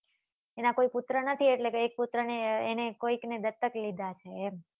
એના કોઈ પુત્ર નથી એટલે કે એક પુત્ર ને એને કોઈક ને દસ્તક લીધા છે એમ.